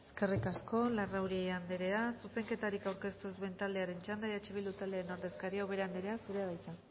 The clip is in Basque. eskerrik asko larrauri andrea zuzenketarik aurkeztu ez duen taldearen txanda eh bildu taldearen ordezkaria ubera andrea zurea da hitza